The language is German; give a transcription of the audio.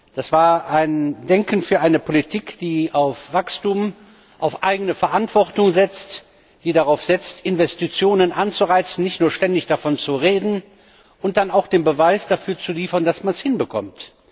Das war ein Denken für eine Politik, die auf Wachstum, auf eigene Verantwortung setzt, die darauf setzt, Investitionen anzureizen, nicht nur ständig davon zu reden, und dann auch den Beweis dafür zu liefern, dass man es hinbekommt.